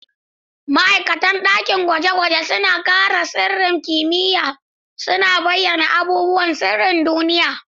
Ma'aikatan dakin gwaje-gwaje suna kare sirrin kimiyya, suna bayyana abubuwan sirrin duniya.